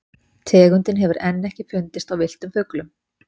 Tegundin hefur enn ekki fundist á villtum fuglum.